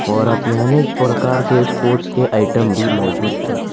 और अपने अनेक प्रकार के स्पोर्ट्स के आइटम भी मौजूद है।